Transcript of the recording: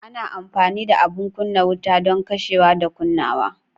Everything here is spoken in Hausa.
Ana amfani da abin kunna wuta don kashewa da kunnawa.